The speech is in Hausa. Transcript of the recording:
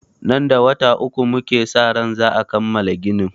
Nan da wata uku muke sa ran za'a kammala ginin.